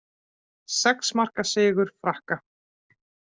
Sex marka sigur Frakka